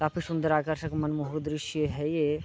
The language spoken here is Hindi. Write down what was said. काफी सुन्दर आकर्षक मनमोहक दृश्य है ये।